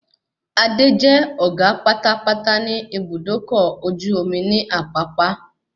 Adé jẹ́ ọ̀gá pátápátá ní Ibùdókọ̀ ọkọ̀ ojú omi ní Àpápá